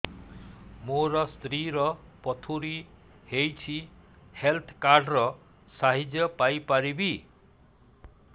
ମୋ ସ୍ତ୍ରୀ ର ପଥୁରୀ ହେଇଚି ହେଲ୍ଥ କାର୍ଡ ର ସାହାଯ୍ୟ ପାଇପାରିବି